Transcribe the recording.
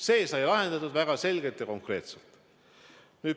See sai lahendatud väga selgelt ja konkreetselt.